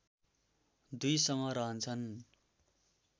दुई समूह रहन्छन्